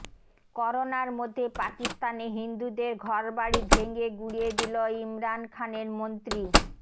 করোনার মধ্যে পাকিস্তানে হিন্দুদের ঘরবাড়ি ভেঙে গুঁড়িয়ে দিল ইমরান খানের মন্ত্রী